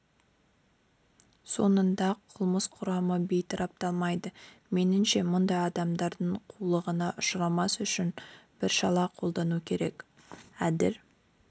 соңында қылмыс құрамы бейтарапталмайды меніңше мұндай адамдардың қулығына ұшырамас үшін бір шара қолдану керек әділ